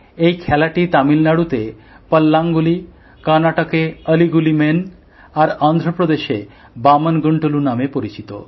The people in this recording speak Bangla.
এই খেলাটি তামিলনাড়ুতে পল্লাঙ্গুলি কর্নাটকে অলি গুলি মেণ আর অন্ধ্রপ্রদেশে বামণ গুণ্টলু নামে পরিচিত